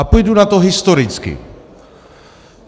A půjdu na to historicky.